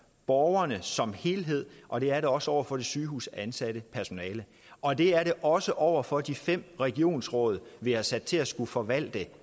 borgerne som helhed og det er det også over for det sygehusansatte personale og det er det også over for de fem regionsråd vi har sat til at skulle forvalte